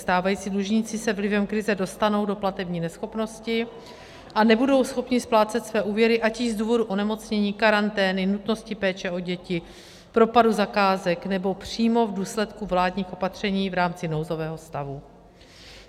Stávající dlužníci se vlivem krize dostanou do platební neschopnosti a nebudou schopni splácet své úvěry ať již z důvodu onemocnění, karantény, nutnosti péče o děti, propadu zakázek, nebo přímo v důsledku vládních opatření v rámci nouzového stavu.